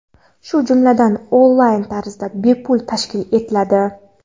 shu jumladan "onlayn" tarzda bepul tashkil etiladi.